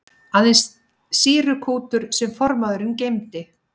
Aðeins sýrukútur sem formaðurinn geymdi.